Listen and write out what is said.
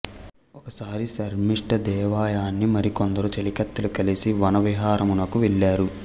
ఒకసారి శర్మిష్ఠదేవయాని మరి కొందరు చేలికత్తెలూ కలిసి వనవిహారమునకు వెళ్ళారు